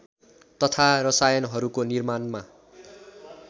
तथा रसायनहरूको निर्माणमा